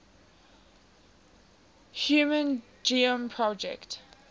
human genome project